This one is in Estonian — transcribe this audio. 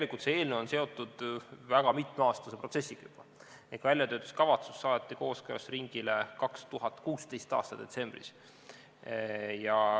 Tegelikult see eelnõu on seotud väga mitmeaastase protsessiga ehk väljatöötamiskavatsus saadeti kooskõlastusringile 2016. aasta detsembris.